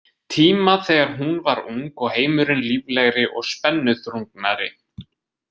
Tíma þegar hún var ung og heimurinn líflegri og spennuþrungnari.